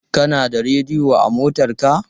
Kana da rediyo a motarka?